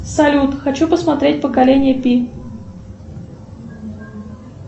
салют хочу посмотреть поколение пи